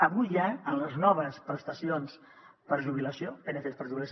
avui hi ha en les noves prestacions per jubilació pncs per jubilació